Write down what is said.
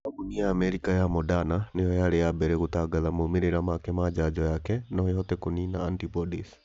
Kambuni ya Amerika ya Moderna nĩyo yarĩ ya mbere gũtangatha maumĩrĩra make na njanjo yake no ĩhote kũniina antibodies